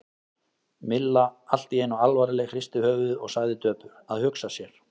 Milla allt í einu alvarleg, hristi höfuðið og sagði döpur: Að hugsa sér.